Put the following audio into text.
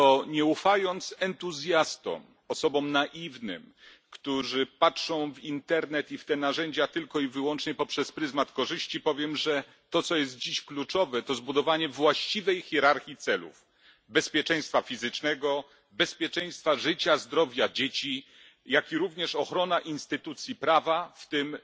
Nie ufając entuzjastom, osobom naiwnym, które patrzą w internet i w te narzędzia tylko i wyłącznie poprzez pryzmat korzyści, powiem, że to co jest dziś kluczowe, to zbudowanie właściwej hierarchii celów bezpieczeństwa fizycznego, bezpieczeństwa życia i zdrowia dzieci, jak i również ochrona instytucji prawa, w tym